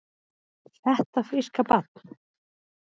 Þetta fríska barn?